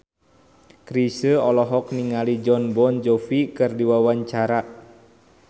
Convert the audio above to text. Chrisye olohok ningali Jon Bon Jovi keur diwawancara